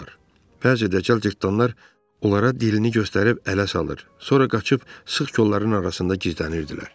Bəzi dəcəl cıtdanlar onlara dilini göstərib ələ salır, sonra qaçıb sıx kolların arasında gizlənirdilər.